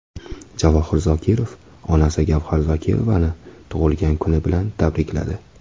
Javohir Zokirov onasi Gavhar Zokirovani tug‘ilgan kuni bilan tabrikladi.